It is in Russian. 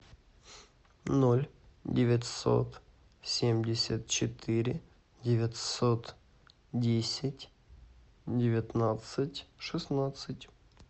ноль девятьсот семьдесят четыре девятьсот десять девятнадцать шестнадцать